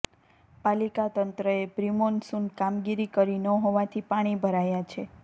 પાલિકા તંત્રએ પ્રિમોન્સુન કામગીરી કરી ન હોવાથી પાણી ભરાયા છે